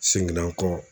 Seginna kɔ